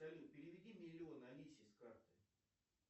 салют переведи миллион алисе с карты